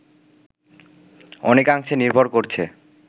অনেকাংশে নির্ভর করছে